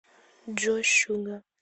джой шугар